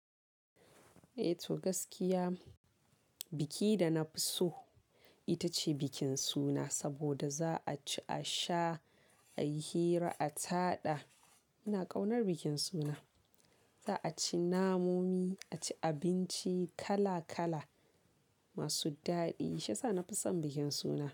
Eh to gaskiya biki da na fi so ita ce bikin suna. Saboda za a ci, a sha, a yi hira, a taɗa. Ina ƙaunar bikin suna. Za a ci namomi, a ci abinci kala-kala masu daɗi. Shi yasa na fi son bikin suna.